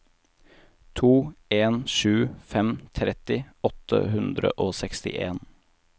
to en sju fem tretti åtte hundre og sekstien